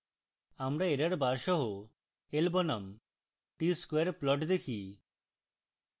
আমরা error bar সহ l বনাম t square plot দেখি